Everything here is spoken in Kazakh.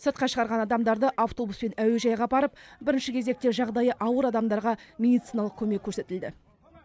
сыртқа шығарған адамдарды автобуспен әуежайға апарып бірінші кезекте жағдайы ауыр адамдарға медициналық көмек көрсетілді